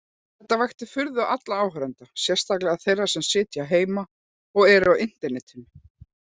Þetta vakti furðu allra áhorfenda, sérstaklega þeirra sem sitja heima og eru á internetinu.